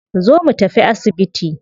Zo mu tafi asibiti